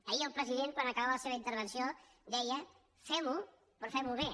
ahir el president quan acabava la seva in·tervenció deia fem·ho però fem·ho bé